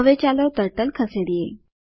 હવે ચાલો ટર્ટલ ખસેડીએ